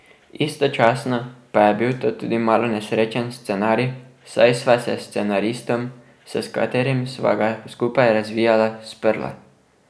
Istočasno pa je bil to tudi malo nesrečen scenarij, saj sva se s scenaristom, s katerim sva ga skupaj razvijala, sprla.